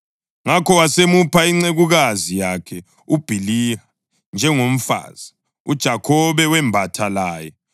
Ngakho wasemupha incekukazi yakhe uBhiliha njengomfazi. UJakhobe wembatha laye,